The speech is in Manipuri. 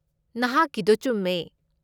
ꯅꯍꯥꯛꯀꯤꯗꯣ ꯆꯨꯝꯃꯦ꯫